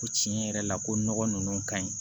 Ko tiɲɛ yɛrɛ la ko nɔgɔ ninnu ka ɲi